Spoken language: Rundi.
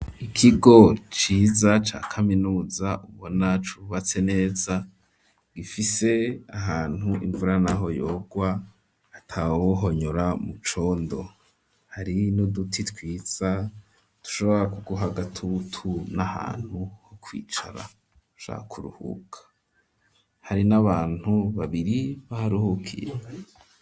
Ikigo ciza ca kaminuza ubona cubatse neza gifise ahantu imvura naho yogwa atawohonyora mu condo hari n'uduti twiza dushobra ku guha agatutu n'ahantu ho kwicara ushaka kuruhuka, hari n'abantu babiri baharuhukiye.